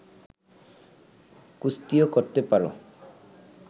কুস্তিও করতে পার